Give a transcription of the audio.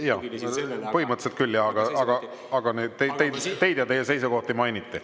Jah, põhimõtteliselt küll, aga teid ja teie seisukohti mainiti.